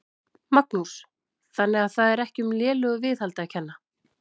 Magnús: Þannig að það er ekki um lélegu viðhaldi að kenna?